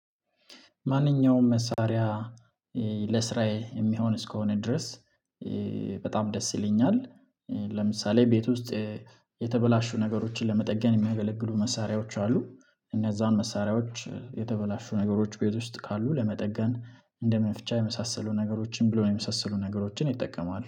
ማንኛውም መሳሪያ ለስራዬ የሚሆን እስከሆነ ድረስ በጣም ደስ ይለኛል። ለምሳሌ ቤት ውስጥ የተበላሹ ነገሮችን ለመጠገን የሚያገለግሉ መሳሪያዎች አሉ። እነዛን መሳሪያዎች የተበላሹ ነገሮች ቤት ውስጥ ካሉ ለመጠገን እንደ መፍቻ የመሳሰሉ ነገሮችን ብሎ የመሳሰሉ ነገሮችን እጠቀማለሁ